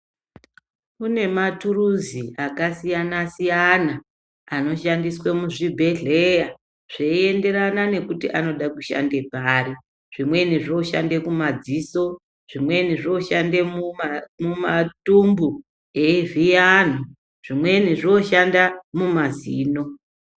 Kune maturuzi aka siyana siyana ano shandiswe mu zvibhedhleya zvei enderana nekuti anoda kushande pari zvimweni zvoshande ku madziso zvimweni zvoshande mu matumbu eyi vhiya anhu zvimweni zvoshanda mu mazino.